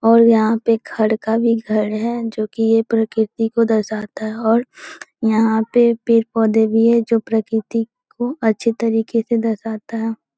और यहाँ पे खड का भी घर हैजो की यह प्रकृति को दर्शाता हैऔर यहाँ पे पेड़-पौधे भी हैंजो की प्रकृति को अच्छे तरीके से दर्शाता है।